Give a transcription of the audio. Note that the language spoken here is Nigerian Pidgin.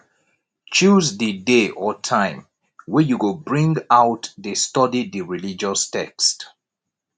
choose di day or time wey you go bring out de study di religious text